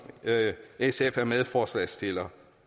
sf er medforslagsstiller